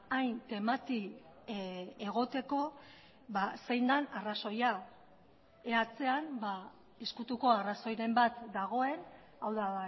hain temati egoteko zein den arrazoia ea atzean ezkutuko arrazoiren bat dagoen hau da